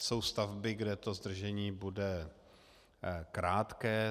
Jsou stavby, kde to zdržení bude krátké.